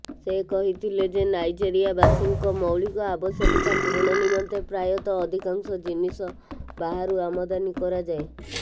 ସେ କହିଥିଲେ ଯେ ନାଇଜେରିଆବାସୀଙ୍କ ମୌଳିକ ଆବଶ୍ୟକତା ପୂରଣ ନିମନ୍ତେ ପ୍ରାୟତଃ ଅଧିକାଂଶ ଜିନିଷ ବାହାରୁ ଆମଦାନୀ କରାଯାଏ